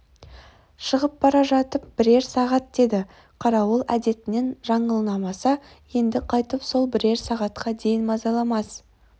шығып бара жатып бірер сағат деді қарауыл әдетінен жаңылмаса енді қайтып сол бірер сағатқа дейін мазаламас